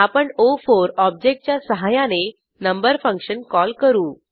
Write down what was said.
आपण ओ4 ऑब्जेक्टच्या सहाय्याने नंबर फंक्शन कॉल करू